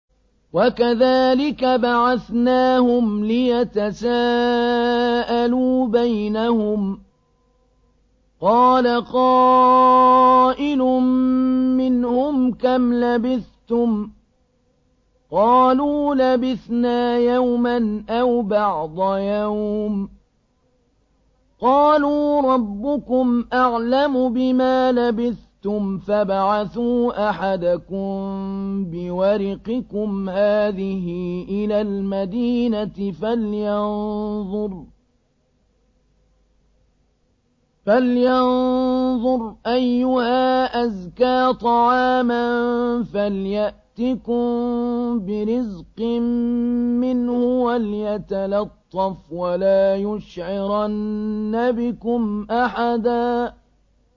وَكَذَٰلِكَ بَعَثْنَاهُمْ لِيَتَسَاءَلُوا بَيْنَهُمْ ۚ قَالَ قَائِلٌ مِّنْهُمْ كَمْ لَبِثْتُمْ ۖ قَالُوا لَبِثْنَا يَوْمًا أَوْ بَعْضَ يَوْمٍ ۚ قَالُوا رَبُّكُمْ أَعْلَمُ بِمَا لَبِثْتُمْ فَابْعَثُوا أَحَدَكُم بِوَرِقِكُمْ هَٰذِهِ إِلَى الْمَدِينَةِ فَلْيَنظُرْ أَيُّهَا أَزْكَىٰ طَعَامًا فَلْيَأْتِكُم بِرِزْقٍ مِّنْهُ وَلْيَتَلَطَّفْ وَلَا يُشْعِرَنَّ بِكُمْ أَحَدًا